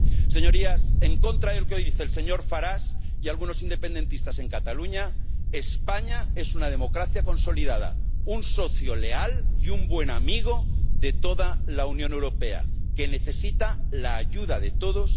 Señorías, en contra de lo que hoy dice el señor Farage y algunos independentistas en Cataluña, España es una democracia consolidada, un socio leal y un buen amigo de toda la Unión Europea, que necesita la ayuda de todos.